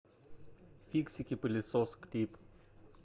фиксики пылесос клип